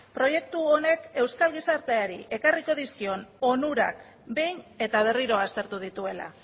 proiektu honek euskal gizarteari ekarriko dizkion onurak behin eta berriro aztertu dituela